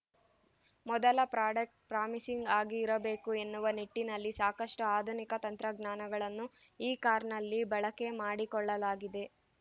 ಮೊದಲ product promising ಆಗಿ ಇರಬೇಕು ಎನ್ನುವ ನಿಟ್ಟಿನಲ್ಲಿ ಸಾಕಷ್ಟುಆಧುನಿಕ ತಂತ್ರಜ್ಞಾನಗಳನ್ನು ಈ ಕಾರ್‌ನಲ್ಲಿ ಬಳಕೆ ಮಾಡಿಕೊಳ್ಳಲಾಗಿದೆ